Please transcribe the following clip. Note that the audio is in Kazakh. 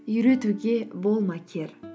үйретуге болма кер